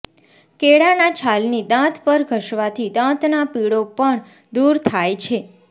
કેળાના છાલની દાંત પર ઘસવાથી દાંતના પીળો પણ દૂર થાય છે